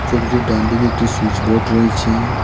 ছবিটির ডানদিকে একটি সুইচবোর্ড রয়েছে।